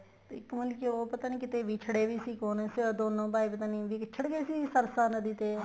ਇੱਕ ਮਤਲਬ ਉਹ ਪਤਾ ਨਹੀਂ ਕਿੱਥੇ ਵਿਛੜੇ ਵੀ ਸੀ ਦੋਨੋ ਭਾਈ ਪਤਾ ਨਹੀਂ ਵਿੱਛੜ ਗਏ ਸੀ ਸਰ੍ਸਾਂ ਨਦੀ ਤੇ